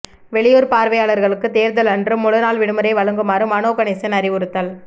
வெளியூர் பணியாளர்களுக்கு தேர்தலன்று முழுநாள் விடுமுறை வழங்குமாறு மனோ கணேசன் அறிவுறுத்தல்